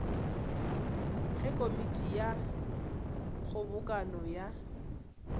ge komiti ya kgobokano ya